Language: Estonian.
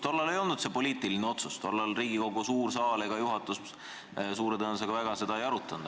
Tollal ei olnud see poliitiline otsus, tollal Riigikogu suur saal ega juhatus suure tõenäosusega seda väga ei arutanud.